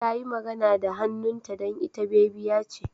Tayi magana da hannunta don ita bebiya ce.